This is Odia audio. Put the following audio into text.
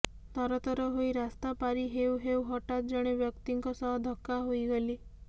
ତରତର ହୋଇ ରାସ୍ତା ପାରି ହେଉ ହେଉ ହଠାତ୍ ଜଣେ ବ୍ୟକ୍ତିଙ୍କ ସହ ଧକ୍କା ହୋଇଗଲି